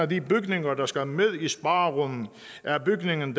de bygninger der skal med i sparerunden er bygningen